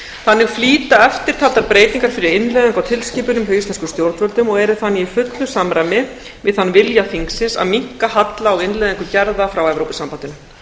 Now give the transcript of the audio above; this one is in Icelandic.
þannig flýta eftirtaldar breytingar fyrir innleiðingu á tilskipun hjá íslenskum stjórnvöldum og eru þannig í fullu samræmi við þann vilja þingsins að minnka halla á innleiðingu gerða frá evrópusambandinu